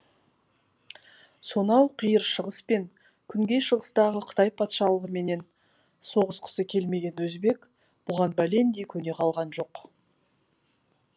сонау қиыр шығыс пен күнгей шығыстағы қытай патшалығыменен соғысқысы келмеген өзбек бұған бәлендей көне қалған жоқ